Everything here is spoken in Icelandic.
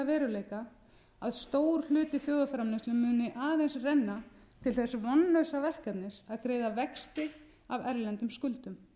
veruleika að stór hluti þjóðarframleiðslu muni aðeins renna til þess vonlausa verkefnis að greiða vexti af erlendum skuldum